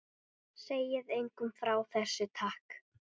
Segið engum frá þessu, takk.